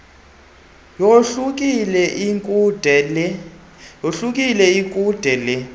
yohlukile ikude lee